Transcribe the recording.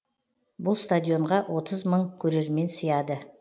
бұл стадионға отыз мың көрермен сияды